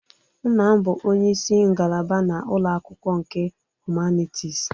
Nna m bụ onye isi ngalaba na ụlọ akwụkwọ nke Humanities